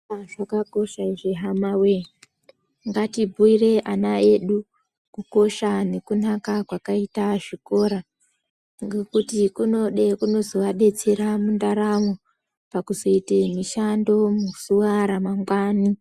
Zvikora zvakakosha izvi hamawe. Ngatibhuire ana edu kukosha nekunaka kwakaita zvikora ngekuti kunozovadetsere mundaramo pakuzoite mishando muzuwa ramangwani.